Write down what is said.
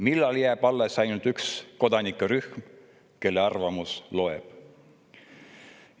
Millal jääb alles ainult üks kodanike rühm, kelle arvamus loeb?